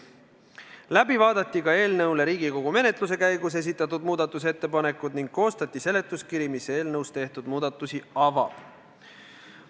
Läbi vaadati ka Riigikogu menetluse käigus esitatud muudatusettepanekud ning koostati seletuskiri, mis eelnõus tehtud muudatusi avab.